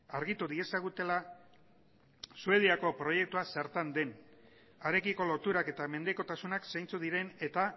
argitu diezagutela suediako proiektua zertan den harekiko loturak eta mendekotasunak zeintzuk diren eta